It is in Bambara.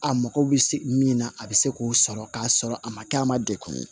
A mago bɛ se min na a bɛ se k'o sɔrɔ k'a sɔrɔ a ma kɛ a ma degun ye